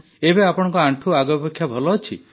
ଏବେ ଆପଣଙ୍କ ଆଣ୍ଠୁ ଆଗ ଅପେକ୍ଷା ଭଲ ଅଛି